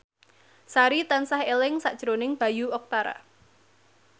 Sari tansah eling sakjroning Bayu Octara